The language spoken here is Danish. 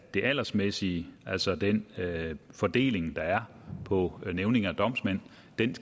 det aldersmæssige altså den fordeling der er på nævninge og domsmænd